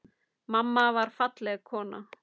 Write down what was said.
Mamma var falleg kona.